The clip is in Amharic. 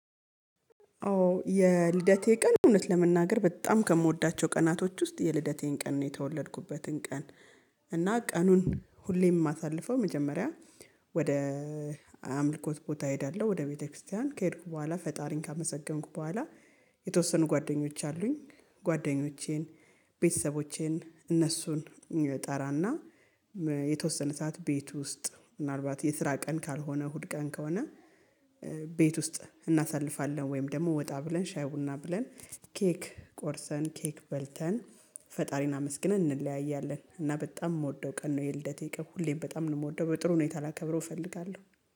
አዎ የልደቴ ቀን እውነት ለመናገር በጣም ከምወዳቸው ቀናቶች ውስጥ የልደቴን ቀን ነው የተወለድኩበትን ቀን። እና ቀኑን ሁሌም ማሳልፈው መጀመሪያ ወደ አምልኮት ቦታ እሄዳለሁ ወደ ቤተክርስቲያን ከሄድኩ በኋላ ፈጣሪን ካመሰገንኩ በኋላ። የተወሰኑ ጓደኞች አሉኝ ጓደኞቼን ቤተሰቦቼን እነሱን እጠራና የተወሰነ ሰዓት ቤት ውስጥ ምናልባት የስራ ቀን ካልሆነ እሁድ ቀን ከሆነ። ቤት ውስጥ እናሳልፋለን ወይም ደሞ ወጣ ብለን ሻይ ቡና ብለን ኬክ ቆርሰን ኬክ በልተን ፈጣሪን አመስግነን እንለያያለን። እና በጣም ምወደው ቀን ነው። የልደቴ ቀን ሁሌም በጣም ነው ምወደው በጥሩ ሁኔታ ላከብረው እፈልጋለሁ